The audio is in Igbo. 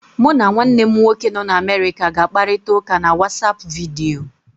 Mụ na nwanne m nwoke nọ n'Amerịka ga-akparita ụka na WatsAapụ vidiyo.